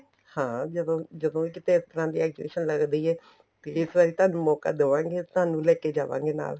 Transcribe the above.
ਹਾਂ ਜਦੋਂ ਜਦੋਂ ਇਹ ਕਿੱਥੇ ਇਸ ਤਰ੍ਹਾਂ ਦੀ exhibition ਲੱਗਦੀ ਏ ਤੇ ਇਸ ਵਾਰੀ ਤੁਹਾਨੂੰ ਮੋਕਾ ਦਵਾਗੇ ਤੁਹਾਨੂੰ ਲੈਕੇ ਜਾਵਾਗੇ ਨਾਲ